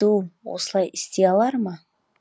ду осылай істей алар ма